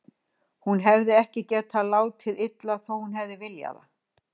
Hún hefði ekki getað látið illa, þó að hún hefði viljað.